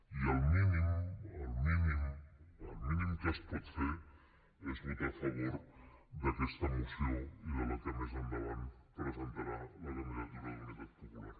i el mínim el mínim el mínim que es pot fer és votar a favor d’aqueta moció i de la que més endavant presentarà la candidatura d’unitat popular